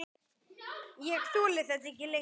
Ég þoli þetta ekki lengur.